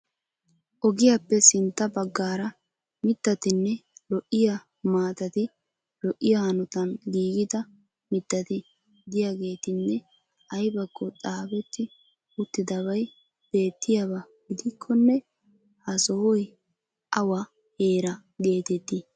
Ogiyappe sintta baggaara mittatinne lo"iya maatati lo"iya hanotan giigida mittati de'iyageetinne aybakko xaafetti uttidabay beettiyaba gidikkonne ha sohay awa heera geetettii?